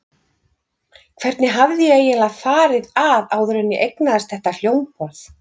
Hvernig hafði ég eiginlega farið að áður en ég eignaðist þetta hljómborð?